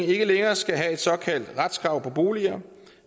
ikke længere skal have et såkaldt retskrav på boliger